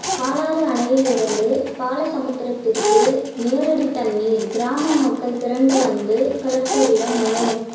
பாலாறு அணையில் இருந்து பாலசமுத்திரத்திற்கு நேரடி தண்ணீர் கிராமமக்கள் திரண்டு வந்து கலெக்டரிடம் மனு